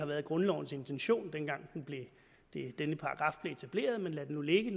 været grundlovens intention dengang denne paragraf blev etableret men lad det nu ligge